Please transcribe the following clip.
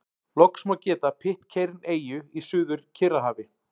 Loks má geta Pitcairn-eyju í Suður-Kyrrahafi.